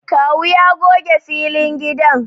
Kawu ya goge filin gidan